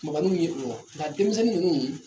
Kunbaninw ye nka denmisɛnnin ninnu